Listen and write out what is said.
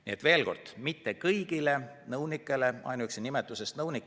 Nii et veel kord: mitte kõigile nõunikele.